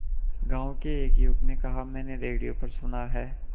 गांव के एक युवक ने कहा मैंने रेडियो पर सुना है